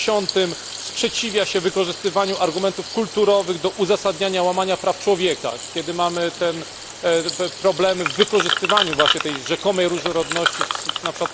50 sprzeciwia się wykorzystywaniu argumentów kulturowych do uzasadniania łamania praw człowieka, kiedy mamy problemy w wykorzystywaniu właśnie tej rzekomej różnorodności np.